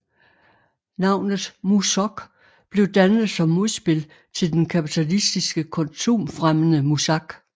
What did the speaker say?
Navnet MuSoc blev dannet som modspil til den kapitalistiske konsumfremmende muzak